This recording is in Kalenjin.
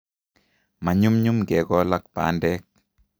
Manyumnyum kekol ak bandek